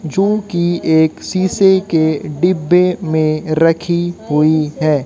जो की एक शीशे के डिब्बे में रखी हुई है।